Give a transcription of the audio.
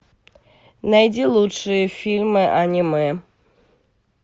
найди лучшие фильмы аниме